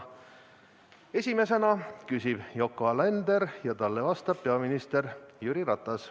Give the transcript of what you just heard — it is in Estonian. Esimesena küsib Yoko Alender ja talle vastab peaminister Jüri Ratas.